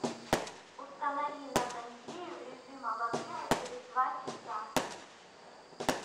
установи на кондее в режим обогрева через два часа